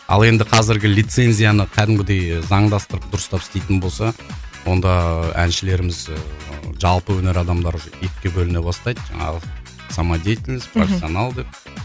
ал енді қазіргі лицензияны кәдімгідей заңдастырып дұрыстап істейтін болса онда әншілеріміз ыыы жалпы өнер адамдары уже екіге бөліне бастайды жаңағы самодеятельность мхм профессионал деп